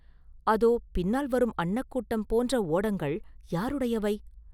அதோ பின்னால் வரும் அன்னக்கூட்டம் போன்ற ஓடங்கள் யாருடையவை?